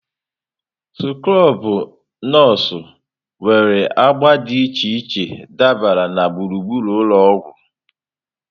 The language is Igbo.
Skrobụ nọọsụ nwere agba dị iche iche dabara na gburugburu ụlọ ọgwụ.